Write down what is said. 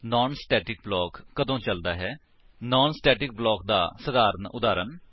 naan static block ਕਦੋਂ ਚਲਦਾ ਹੈ160 ਨਾਨ ਸਟੇਟਿਕ ਬਲਾਕ ਦਾ ਸਧਾਰਨ ਉਦਾਹਰਨ